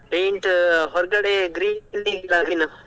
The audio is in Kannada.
Paint ಹೊರಗಡೆ green .